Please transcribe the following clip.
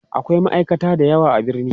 akwai ma'aikata da yawa a birni